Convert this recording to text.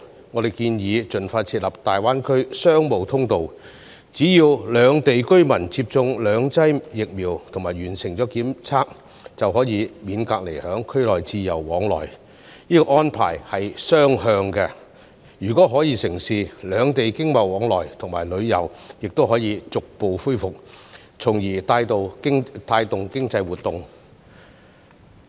我們建議盡快設立"大灣區商務通道"，只要兩地居民接種兩劑疫苗及完成檢測，便可免隔離在區內自由往來，這安排是雙向的，如果可以成事，兩地經貿往來和旅遊亦能逐步恢復，從而帶動經濟活動。